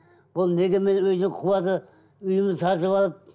бұл неге мені үйден қуады үйімді сатып алып